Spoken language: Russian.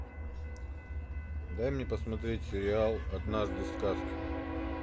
дай мне посмотреть сериал однажды в сказке